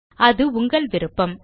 அது உங்கள் விருப்பம்